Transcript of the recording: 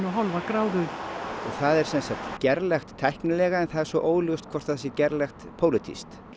og hálfa gráðu og það er sem sagt gerlegt tæknilega en það er svo óljóst hvort það sé gerlegt pólitískt